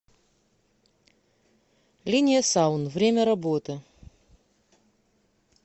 линия саун время работы